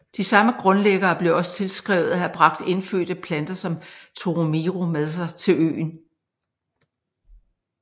De samme grundlæggere bliver også tilskrevet at have bragt indfødte planter som toromiro med sig til øen